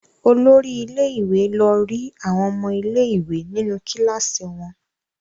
Olori ilé-ìwé lọ rí àwọn ọmọ ilé-ìwé nínú kíláàsì wọn.